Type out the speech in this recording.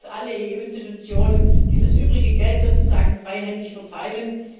Ich höre, dass alle EU Institutionen dieses übrige Geld sozusagen freihändig verteilen.